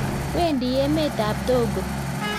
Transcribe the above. Wendi emt ab Togo